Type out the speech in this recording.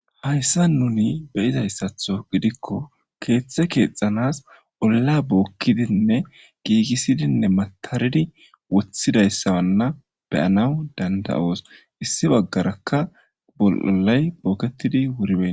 Hayssa nuni beyizayssatho gidikko keeththe keexanas olla bookkidinne giigisidinne mataridi woththidayssawanna beyanaw dandayoos issi baggarakka bolay bookketidi wuribeni